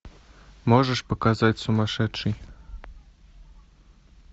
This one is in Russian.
можешь показать сумасшедший